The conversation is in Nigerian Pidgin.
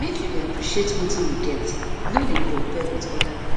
make you dey appreciate wetin you get no dey compare wit oda pipo